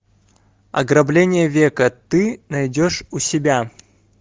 ограбление века ты найдешь у себя